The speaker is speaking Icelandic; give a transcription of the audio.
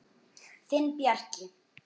Þinn Bjarki.